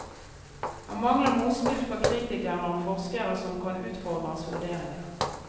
Han mangler motspill fra kritikere og forskere som kan utfordre hans vurderinger.